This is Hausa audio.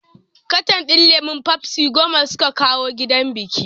Katan din lemon fafsi goma suka kawo gidan bikin